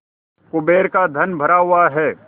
कुबेर का धन भरा हुआ है